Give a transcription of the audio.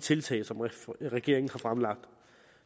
tiltag som regeringen har fremlagt